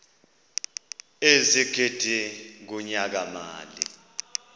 ezigidi kunyaka mali